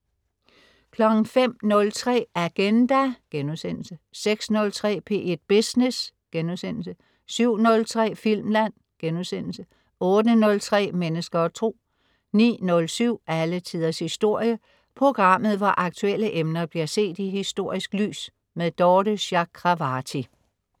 05.03 Agenda* 06.03 P1 Business* 07.03 Filmland* 08.03 Mennesker og Tro 09.07 Alle Tiders Historie. Programmet hvor aktuelle emner bliver set i historisk lys. Dorthe Chakravarty